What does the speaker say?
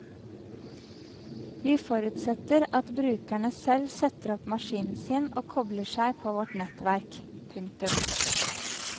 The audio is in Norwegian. Vi forutsetter at brukerne selv setter opp maskinen sin og kobler seg på vårt nettverk. punktum